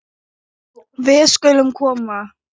Við skulum koma